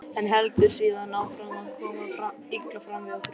en heldur síðan áfram að koma illa fram við okkur.